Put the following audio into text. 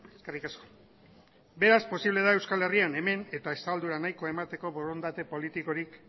eskerrik asko beraz posible da euskal herrian hemen eta estaldura nahikoa emateko borondate politikorik